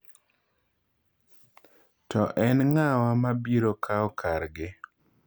To en nga'wa mabiro kao kargi